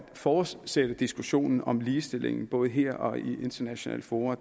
fortsætte diskussionen om ligestilling både her og i internationale fora